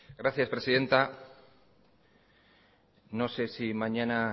gracias presidenta no sé si mañana